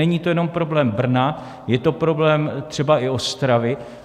Není to jenom problém Brna, je to problém třeba i Ostravy.